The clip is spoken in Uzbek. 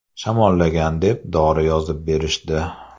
Shamollagan deb, dori yozib berishdi.